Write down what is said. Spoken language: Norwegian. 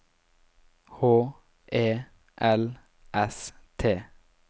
H E L S T